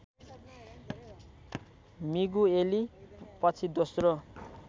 Migueli पछि दोस्रो